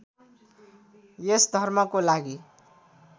यस धर्मको लागि